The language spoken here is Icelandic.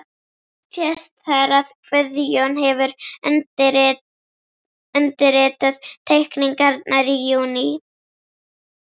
Sést þar, að Guðjón hefur undirritað teikningarnar í júní